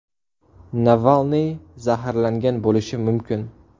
Navalniy zaharlangan bo‘lishi mumkin.